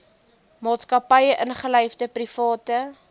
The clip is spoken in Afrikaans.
maatskappye ingelyfde private